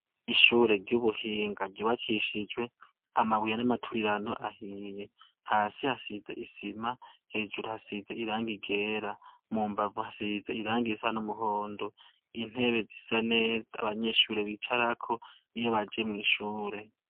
Ishure ry'ubuhinga ryubakishijwe amabuye y'amaturirano ahiye, hasi hasize isima, hejuru hasize irangi ryera mu mbavu hasize irangi risa n'umuhondo, intebe zisa neza abanyeshure bicarako iyo baje mw'ishure.